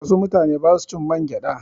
Wasu mutane ba su cin mangyaɗa.